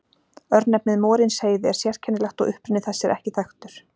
Örnefnið Morinsheiði er sérkennilegt og uppruni þess er ekki þekktur.